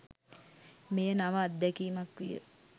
මෙය නව අත්දැකීමක් විය.